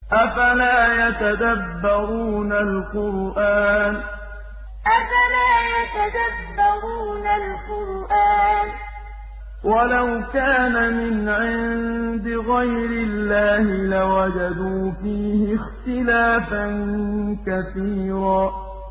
أَفَلَا يَتَدَبَّرُونَ الْقُرْآنَ ۚ وَلَوْ كَانَ مِنْ عِندِ غَيْرِ اللَّهِ لَوَجَدُوا فِيهِ اخْتِلَافًا كَثِيرًا أَفَلَا يَتَدَبَّرُونَ الْقُرْآنَ ۚ وَلَوْ كَانَ مِنْ عِندِ غَيْرِ اللَّهِ لَوَجَدُوا فِيهِ اخْتِلَافًا كَثِيرًا